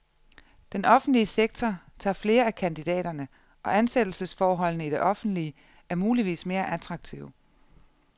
Den offentlige sektor tager flere af kandidaterne, og ansættelsesforholdene i det offentlige er muligvis mere attraktive.